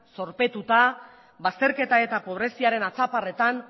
zorpetuta bazterketa eta pobreziaren hatzaparretan